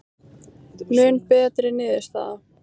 Mun betri niðurstaða